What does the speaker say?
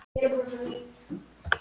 af orðinu beiðni?